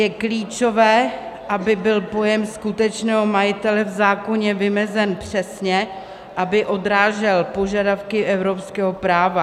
Je klíčové, aby byl pojem skutečného majitele v zákoně vymezen přesně, aby odrážel požadavky evropského práva.